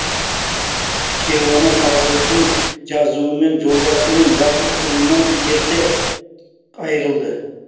кейуана тағдырдың жазуымен жолдасы мен жалғыз ұлынан ерте айырылды